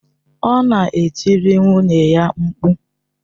Ọ na-etiri nwunye ya mkpu.